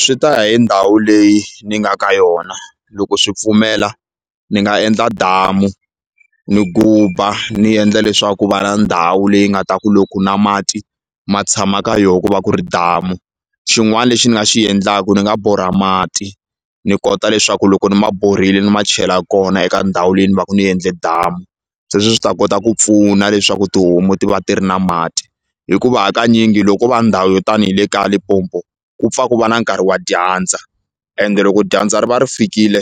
Swi ta ya hi ndhawu leyi ni nga ka yona loko swi pfumela ni nga endla damu ni guba ni endla leswaku ku va na ndhawu leyi nga ta ku loko na mati ma tshama ka yo ku va ku ri damu xin'wani lexi ni nga xi endlaku ni nga borha mati ni kota leswaku loko ni ma borhile ni ma chela kona eka ndhawu leyi ni ku va ni endle damu sweswo swi ta kota ku pfuna leswaku tihomu ti va ti ri na mati hikuva hakanyingi loko va ndhawu yo tani ni le kaya Limpopo ku pfa ku va na nkarhi wa dyandza ende loko dyandza ri va ri fikile